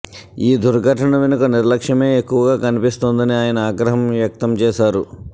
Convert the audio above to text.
ఈ దుర్ఘటన వెనుక నిర్లక్ష్యమే ఎక్కువగా కన్పిస్తోందని ఆయన ఆగ్రహం వ్యక్తం చేశారు